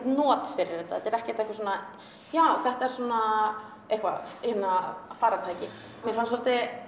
not fyrir þetta þetta er ekki eitthvað svona já þetta er svona eitthvað farartæki mér fannst svolítið